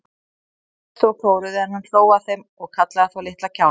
Þeir hvæstu og klóruðu, en hann hló að þeim og kallaði þá litla kjána.